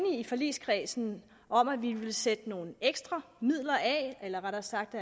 i forligskredsen om at vi ville sætte nogle ekstra midler af eller rettere sagt